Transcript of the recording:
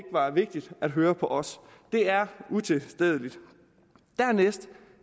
var vigtigt at høre på os det er utilstedeligt dernæst